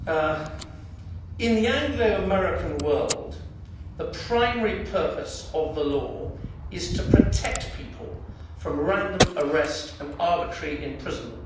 Mr President, in the Anglo American world, the primary purpose of the law is to protect people from random arrest and arbitrary imprisonment.